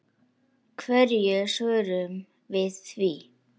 Hverju svörum við því?